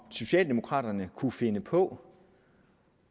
socialdemokraterne kunne finde på